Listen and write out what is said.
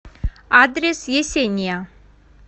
адрес есения